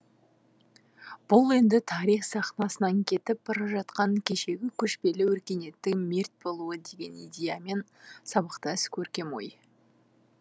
бұл енді тарих сахнасынан кетіп бара жатқан кешегі көшпелі өркениеттің мерт болуы деген идеямен сабақтас көркем ой